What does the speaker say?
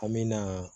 An me na